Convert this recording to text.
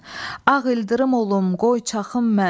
Ağ ildırım olum qoy çaxım mən.